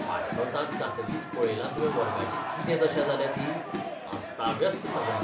फाटलो तास जातकीच पळयलां तुवें वर्गाची कितें दशा जाल्या ती. अस्ताव्यस्त सगळें!